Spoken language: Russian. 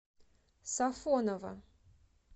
сафоново